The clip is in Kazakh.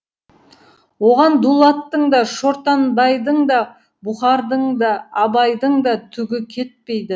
оған дулаттың да шортанбайдың да бұқардың да абайдың да түгі кетпейді